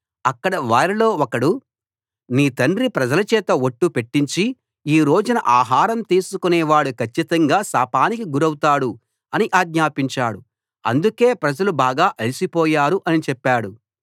అక్కడి వారిలో ఒకడు నీ తండ్రి ప్రజలచేత ఒట్టు పెట్టించి ఈ రోజున ఆహారం తీసుకొనేవాడు కచ్చితంగా శాపానికి గురవుతాడు అని ఆజ్ఞాపించాడు అందుకే ప్రజలు బాగా అలసిపోయారు అని చెప్పాడు